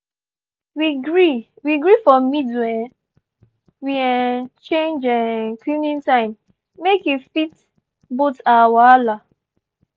we gree we gree for middle um we um change um cleaning time make e fit both our wahala